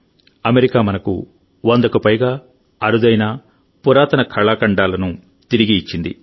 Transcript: America మనకు వందకు పైగా అరుదైన పురాతన కళాఖండాలను తిరిగి ఇచ్చింది